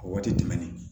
A waati tɛmɛnen